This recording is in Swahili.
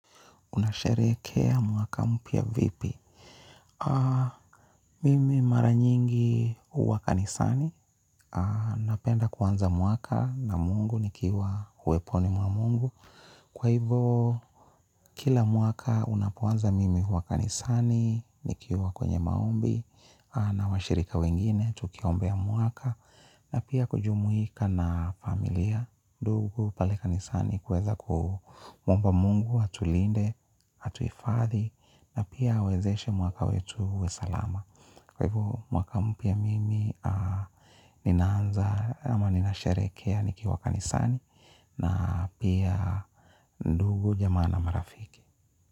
Unasherehekea mwaka mpya vipi? Mimi mara nyingi huwa kanisani. Napenda kuanza mwaka na mungu nikiwa uweponi mwa mungu. Kwa hivo, kila mwaka unapoanza mimi huwa kanisani, nikiwa kwenye maombi na washirika wengine, tukiombea mwaka. Na pia kujumuika na familia ndugu pale kanisani kuweza kumwomba mungu, atulinde, atuhifadhi. Na pia awezeshe mwaka wetu uwe salama. Kwa hivo mwaka mpya mimi ninaanza ama ninasherehekea nikiwa kanisani na pia ndugu jamaa na marafiki.